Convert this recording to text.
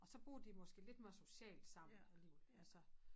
Og så bruger de dem måske lidt mere socialt sammen eller altså